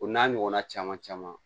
O n'a ɲɔgɔnna caman caman